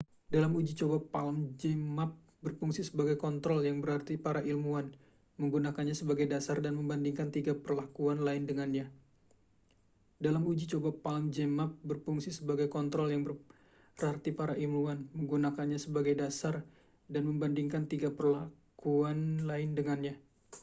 dalam uji coba palm zmapp berfungsi sebagai kontrol yang berarti para ilmuwan menggunakannya sebagai dasar dan membandingkan tiga perlakuan lain dengannya